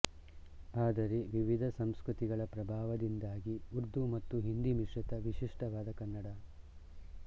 ಆದರೆ ವಿವಿಧ ಸಂಸ್ಕೃತಿಗಳ ಪ್ರಭಾವದಿಂದಾಗಿ ಉರ್ದು ಮತ್ತು ಹಿಂದಿ ಮಿಶ್ರಿತ ವಿಶಿಷ್ಠವಾದ ಕನ್ನಡ